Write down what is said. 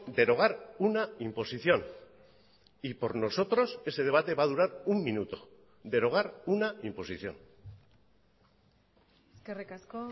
derogar una imposición y por nosotros ese debate va a durar un minuto derogar una imposición eskerrik asko